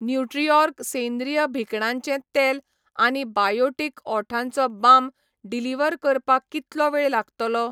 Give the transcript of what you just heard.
न्यूट्रिऑर्ग सेंद्रीय भिकणांचें तेल आनी बायोटीक ओठांचो बाम डिलिव्हर करपाक कितलो वेळ लागतलो ?